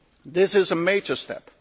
This is a major step.